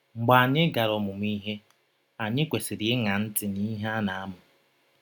Mgbe anyị gara ọmụmụ ihe, anyị kwesịrị ịṅa ntị n’ihe a na - amụ